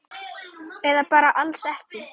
Eða bara alls ekki.